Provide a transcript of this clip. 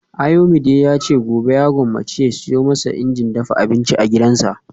Ayomide yace gobe ya gwammace ya siyo masa injin dafa abinci a gidansa